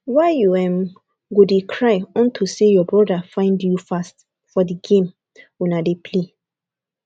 why you um go dey cry unto say your broda find you fast for the game una dey play